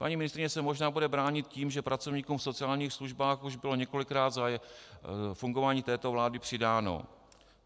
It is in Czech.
Paní ministryně se možná bude bránit tím, že pracovníkům v sociálních službách už bylo několikrát za fungování této vlády přidáno.